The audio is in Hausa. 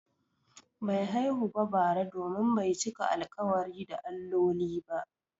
Bai haihu ba bara domin bai cika alƙawari da alloli ba.